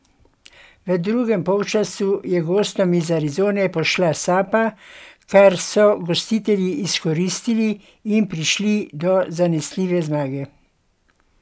V drugem polčasu je gostom iz Arizone pošla sapa, kar so gostitelji izkoristili in prišli do zanesljive zmage.